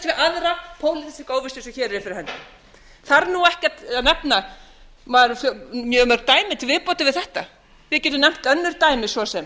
óvissu sem hér fyrir höndum þarf nú ekki að nefna mjög mörg dæmi til viðbótar við þetta við getum nefnt önnur dæmi svo sem